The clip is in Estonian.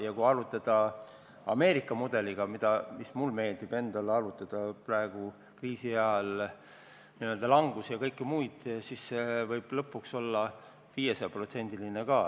Ja kui arvutada Ameerika mudeli abil, millega mulle endale meeldib praegu kriisiajal arvutada n-ö langusi ja kõike muud, siis võib see lõpuks olla ka 500%.